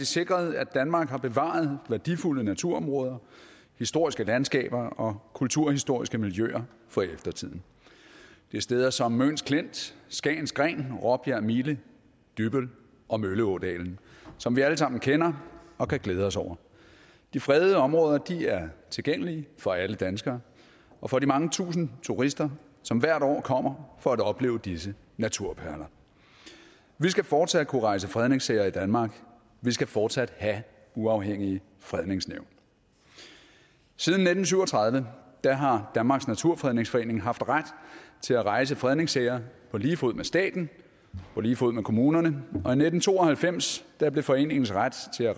sikret at danmark har bevaret værdifulde naturområder historiske landskaber og kulturhistoriske miljøer for eftertiden det er steder som møns klint skagens gren råbjerg mile dybbøl og mølleådalen som vi alle sammen kender og kan glæde os over de fredede områder er tilgængelige for alle danskere og for de mange tusinde turister som hvert år kommer for at opleve disse naturperler vi skal fortsat kunne rejse fredningssager i danmark vi skal fortsat have uafhængige fredningsnævn siden nitten syv og tredive har danmarks naturfredningsforening haft ret til at rejse fredningssager på lige fod med staten på lige fod med kommunerne og i nitten to og halvfems blev foreningens ret til at